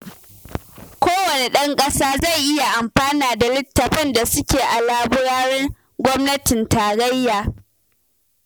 Kowanne ɗan ƙasa zai iya amfana da littattafan da suke a laburaren gwamnatin tarayya